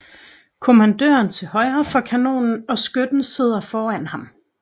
Kommandøren til højre for kanonen og skytten sidder foran ham